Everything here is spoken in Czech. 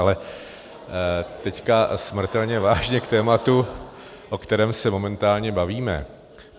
Ale teď smrtelně vážně k tématu, o kterém se momentálně bavíme.